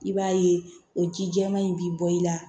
I b'a ye o ji jɛman in bi bɔ i la